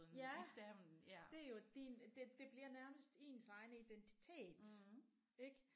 Ja det er jo din det det bliver nærmest ens egen identitet ik